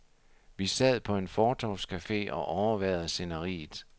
Vi sad på en fortovscafe og overværede sceneriet.